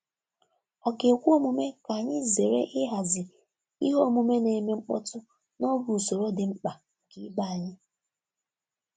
Ọ̀ ga-ekwe omume ka anyị zere ịhazi ihe omume na-eme mkpọtụ n'oge usoro dị mkpa nke ibe anyị?